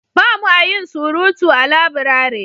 ba mu a yin surutu a laburare